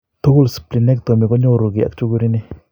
Tugul splenectomy ko nyooru keey ak chukur ini.